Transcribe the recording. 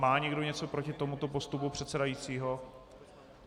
Má někdo něco proti tomuto postupu předsedajícího?